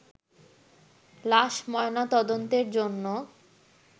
লাশ ময়নাতদন্তের জন্য